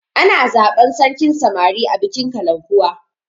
Ana zaban sarkin samari a bikin kalankuwa